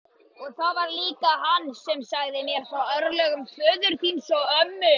Og það var líka hann sem sagði mér frá örlögum föður þíns og ömmu.